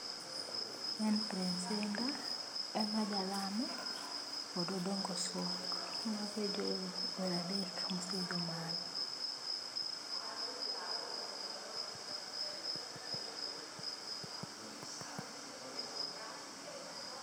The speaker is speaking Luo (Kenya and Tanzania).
Prince Hinda, Emma Jalamo kod Odongo Swag , mago e jower adek ma osee idho malo.